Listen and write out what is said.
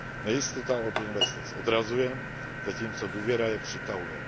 Nejistota od investic odrazuje, zatímco důvěra je přitahuje.